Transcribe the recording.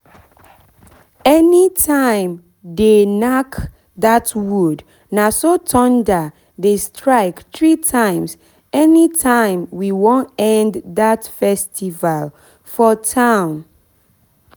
anytime they nack that wood naso thunder dey strike three times anytime we wan end that festival for town